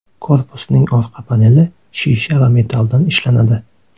Korpusining orqa paneli shisha va metalldan ishlanadi.